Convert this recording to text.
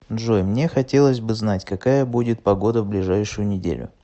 джой мне хотелось бы знать какая будет погода в ближайшую неделю